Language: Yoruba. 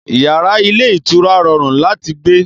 Yàrá ilé ìtura rọrùn láti gbé